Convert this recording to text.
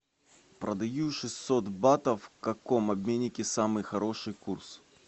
продаю шестьсот батов в каком обменнике самый хороший курс